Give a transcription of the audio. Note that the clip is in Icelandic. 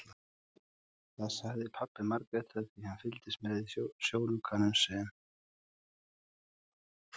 Það sagði pabbi Margrétar því hann fylgdist með í sjónaukanum sem